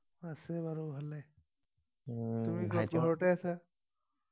আছে আৰু ভালেই উম তুমি ঘৰতেই আছা